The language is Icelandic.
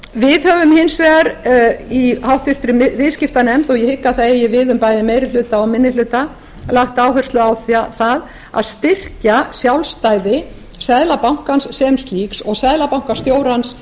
við höfum hins vegar í háttvirtri viðskiptanefnd og ég hygg að það eigi við um bæði meiri hluta og minni hluta lagt áherslu á það að styrkja sjálfstæði seðlabankans sem slíks og seðlabankastjórans